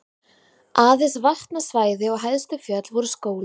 Aðeins vatnasvæði og hæstu fjöll voru skóglaus.